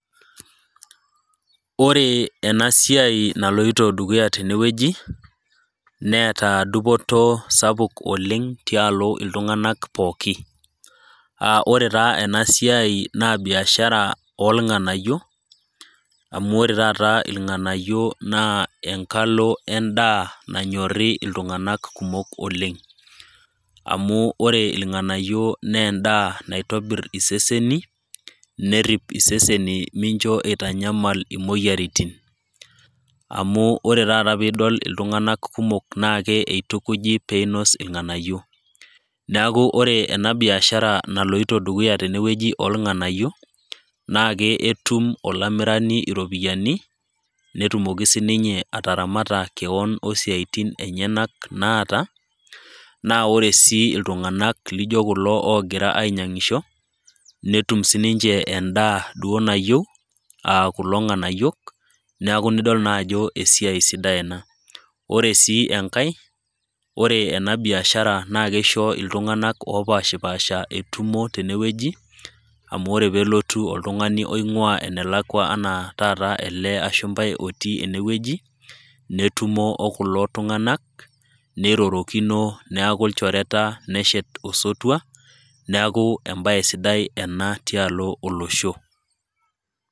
Ore ena siai naloito dukuya tene wueji neata dupoto sapuk oleng tialo iltung'anak pookin. Aa ore taa ena siai naa biashara o ilng'anayio, amu ore taata ilng'anayio naa enkalo endaa nanyori iltung'anak kumok oleng'. Amu ore ilng'anayio naa endaa naa endaa naitobir iseseni, nerip iseseni mincho eitanyamal imoyiaritin. Amu ore taata pee idol iltung'anak kumok naake eitukuji pee einos ilng'anayio. Neaku ore ena biashara naloito dukuya tene wueji oolng'anayio, naake etum olamirani iropiani, netumoki sininye ataramata kewon o isiaitin enyena naata, naa ore sii iltung'anak laijo kulo oogira ainyang'isho netum naa duo sii ninche endaa duo nayiou aa kulo ng'anayiok, neaku nidol naa ajo esiai sidai ena. Ore sii enkai, ore ena biashara naa keisho iltung'anak opaashipaasha etumo tene wueji, amu ore pee elotu oltung'ani oing'ua enelakua anaa taata ele ashumpai otii ene wueji, netumo o kulo tung'anak neirorokino, neaku ilchorreta, neshet osotua, neaku embaye sidai ena tialo olosho.